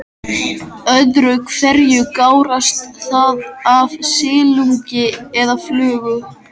Öðru hverju gárast það af silungi eða flugu.